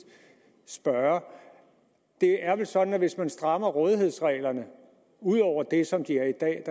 spørge det er vel sådan at hvis man strammer rådighedsreglerne ud over det som de er i dag